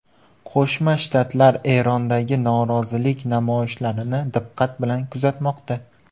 Qo‘shma Shtatlar Erondagi norozilik namoyishlarini diqqat bilan kuzatmoqda.